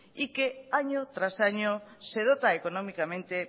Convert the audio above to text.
y que año tras año se dota económicamente